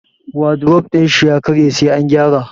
Wadrof din shi ya karye sai an gyara.